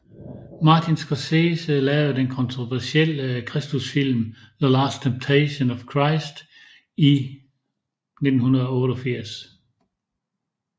Martin Scorsese lavede den kontroversielle kristusfilm The Last Temptation of Christ i 1988